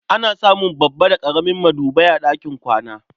Ana samun babba da ƙaramin madubai a ɗakin kwana.